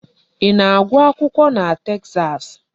Ị na-agụ akwụkwọ na Texas?